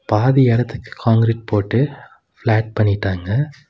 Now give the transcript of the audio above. பாதி எடத்துக்கு கான்கிரீட் போட்டு ஃப்ளேட் பண்ணிட்டாங்க.